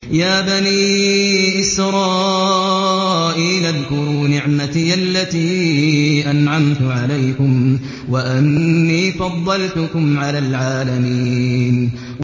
يَا بَنِي إِسْرَائِيلَ اذْكُرُوا نِعْمَتِيَ الَّتِي أَنْعَمْتُ عَلَيْكُمْ وَأَنِّي فَضَّلْتُكُمْ عَلَى الْعَالَمِينَ